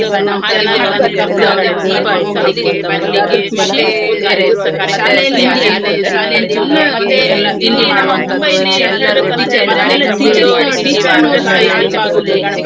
ನಾವ್ ಹಾಗೆ ಮಾಡ್ಬಾರದಿತ್ತು ಈಗ ಅಂದ್ರೆ ಅಂದ್ರೆ ಮೊದ್ಲಿದ್ದು ಯಾವ schoo~ ಅದೆ school ನಲ್ಲಿರುವಾಗ ಶಾ~ ಶಾಲೆಯ ದಿನಗಳನ್ನ ನಾವ್ ಹೇಗೆ ನಾವು ನಮ್ಮ ಹ್ಮ್ ಕಾರ್ಯಕ್ರಮಗಳನ್ನ ಮಾಡಿದ್ದು ನಾವು ಭಾಷಣ ಆಗಿರ್ಬೋದು.